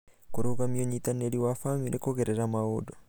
Kũrũgamia ũnyitanĩri wa bamĩrĩ kũgerera maũndũ